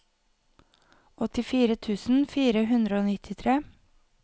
åttifire tusen fire hundre og nittitre